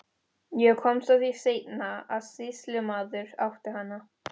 Ég komst að því seinna að sýslumaður átti hana.